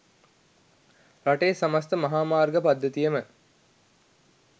රටේ සමස්ත මහාමාර්ග පද්ධතියම